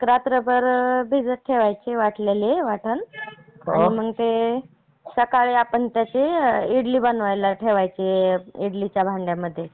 एक रात्रभर भिजत ठेवायचे वाटलेले वाटन. आणि मग ते सगळं पण इडली बनवायला ठेवायची. इडलीच्या भांड्यामध्ये आपण.